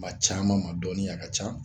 Ma caaman ma dɔniya ka can